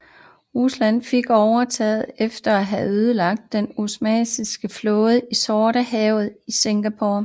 Rusland fik overtaget efter at have ødelagt den osmanniske flåde i Sortehavshavnen i Sinope